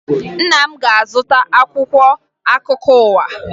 Nna m ga-azụta akwụkwọ akụkọ ụwa